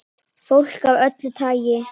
Fólk af öllu tagi.